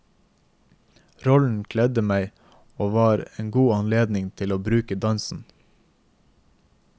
Rollen kledde meg og var en god anledning til å bruke dansen.